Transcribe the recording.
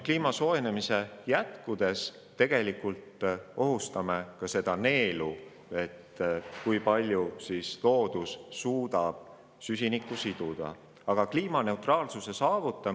Kliima soojenemise jätkudes me ohustame tegelikult ka seda neeldu, ohustame looduse võimet süsinikku atmosfäärist siduda.